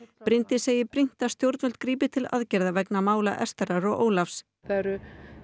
Bryndís segir brýnt að stjórnvöld grípi til aðgerða vegna mála Estherar og Ólafs það eru